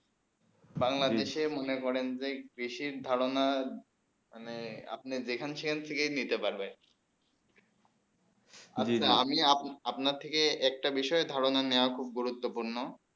বাংলাদেশে মনে করেন যে কৃষি ধারণা মানে আপনি যেখান সেখান থেকে নিতে পারবে আমি আপনার থেকে একটি বিষয়ে ধারণা নিয়ে খুব গুরুত্বপূর্ণ